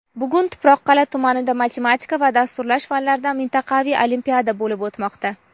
Bugun Tuproqqal’a tumanida matematika va dasturlash fanlaridan mintaqaviy olimpiada bo‘lib o‘tmoqda.